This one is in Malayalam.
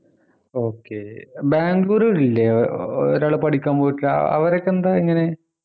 okay ബാംഗ്ലൂർ ഇല്ലേ ഏർ ഒരാൾ പഠിക്കാൻ പോയിട്ടില്ലേ അഹ് അവരൊക്കെ എന്താ എങ്ങനെ